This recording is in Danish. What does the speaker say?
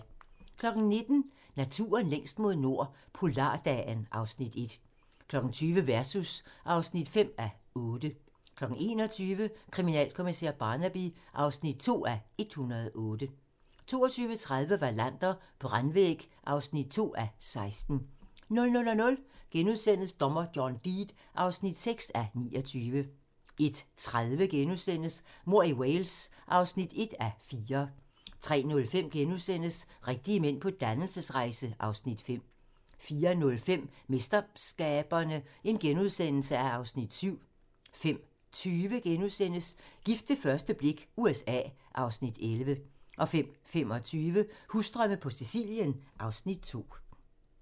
19:00: Naturen længst mod nord - polardagen (Afs. 1) 20:00: Versus (5:8) 21:00: Kriminalkommissær Barnaby (2:108) 22:30: Wallander: Brandvæg (2:16) 00:00: Dommer John Deed (6:29)* 01:30: Mord i Wales (1:4)* 03:05: Rigtige mænd på dannelsesrejse (Afs. 5)* 04:05: MesterSkaberne (Afs. 7)* 05:20: Gift ved første blik - USA (Afs. 11)* 05:25: Husdrømme på Sicilien (Afs. 2)